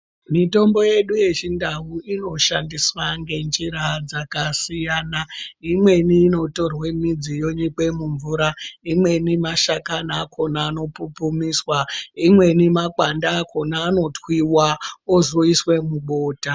Mitombo hedu yechindau inoshanduswa ngenjira dzakasiyana imweni inotorwe midzi yonyikwe mumvura imweni mashakani akhona anopupumiswa imweni makwande akhona anotwiwa ozoiswe mubota.